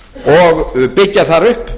og byggja þar upp